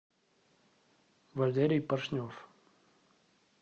валерий пашнев